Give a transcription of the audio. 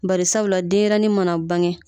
Barisabula denɲɛrɛnnin mana bange